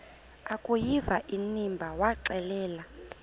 akuyiva inimba waxelela